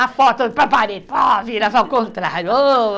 A foto do, vira ao contrário. Ôh!